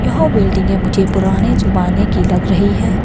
वह बिल्डिंगे मुझे पुराने जमाने की लग रही है।